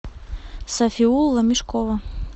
сафиулла мешкова